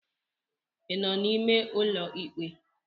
ị nọ n'ime ụlọ ikpe?